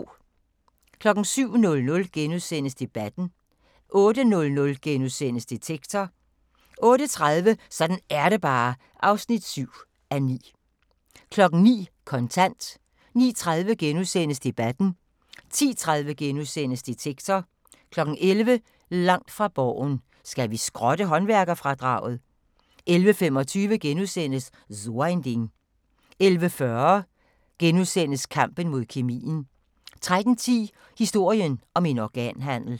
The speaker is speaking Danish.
07:00: Debatten * 08:00: Detektor * 08:30: Sådan er det bare (7:9) 09:00: Kontant 09:30: Debatten * 10:30: Detektor * 11:00: Langt fra Borgen: Skal vi skrotte håndværkerfradraget? 11:25: So ein Ding * 11:40: Kampen mod kemien * 13:10: Historien om en organhandel